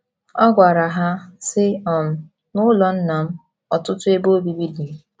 Ọ gwara ha, sị um: “ N’ụlọ Nna m ọtụtụ ebe obibi dị.